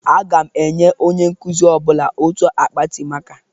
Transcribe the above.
Aga m enye onye nkuzi ọbụla otu akpati maka.